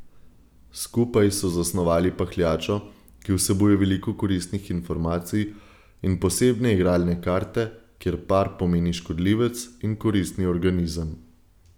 Skupaj so zasnovali pahljačo, ki vsebuje veliko koristnih informacij, in posebne igralne karte, kjer par pomeni škodljivec in koristni organizem.